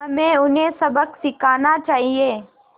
हमें उन्हें सबक सिखाना चाहिए